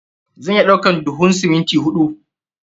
Zan iya ɗaukan duhun siminti huɗu.